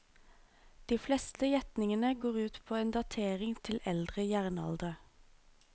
De fleste gjetningene går ut på en datering til eldre jernalder.